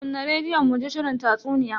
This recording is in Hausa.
Kunna rediyon muji shirin tatsuniya.